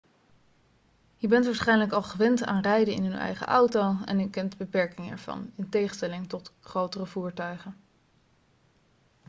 je bent waarschijnlijk al gewend aan rijden in uw eigen auto en u kent de beperkingen ervan in tegenstelling tot grotere voertuigen